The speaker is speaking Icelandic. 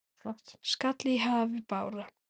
skall í hafi bára.